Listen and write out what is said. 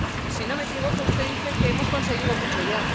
Si no me equivoco, usted dice que hemos conseguido mucho ya.